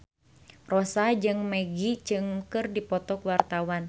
Rossa jeung Maggie Cheung keur dipoto ku wartawan